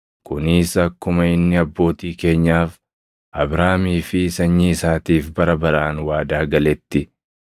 kunis akkuma inni abbootii keenyaaf, Abrahaamii fi sanyii isaatiif bara baraan waadaa galetti.”